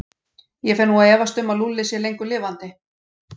Ég fer nú að efast um að Lúlli sé lengur lifandi.